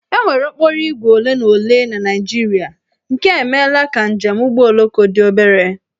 E nwere okporoígwè ole na ole na Naịjirịa nke a emeela ka njem ụgbọoloko dị obere